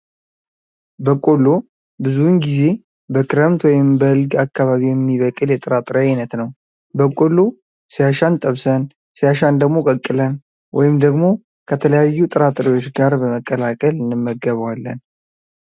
በቆሎ ብዙውን ጊዜ በክረምት ወይም በልግ አካባቢ የሚበቅል የጥራጥሬ አይነት ነው። በቆሎ ሲያሻን ጠብሰን፣ ሲያሻን ደግሞ ቀቅለን ወይም ደግሞ ከተለያዩ ጥራጥሬዎች ጋር በመቀላቀል እንመገበዋለን።